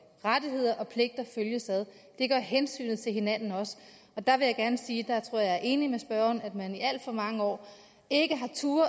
rettigheder og pligter følges ad det gør hensynet til hinanden også der vil jeg gerne sige at jeg tror jeg er enig med spørgeren i at man i alt for mange år ikke